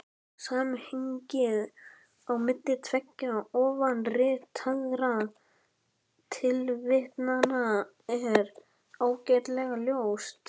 Samhengið á milli tveggja ofanritaðra tilvitnana er ágætlega ljóst.